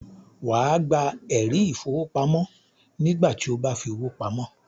Wà á gba “ ẹ̀rí ìfowópamọ́” nígbà tí o bá fi owó pamọ́